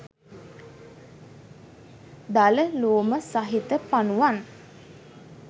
දල ලෝම සහිත පනුවන්